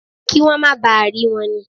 Kí wọ́n máa ba à rí wọn ni.